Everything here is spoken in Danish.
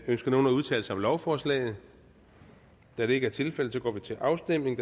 ønsker nogen at udtale sig om lovforslaget da det ikke er tilfældet går vi til afstemning